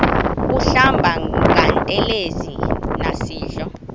kuhlamba ngantelezi nasidlo